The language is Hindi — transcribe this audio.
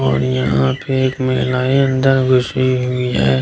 और यहाँ पे एक महिलाये अंदर घुसी हुई है ।